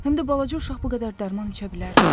Həm də balaca uşaq bu qədər dərman içə bilərmi?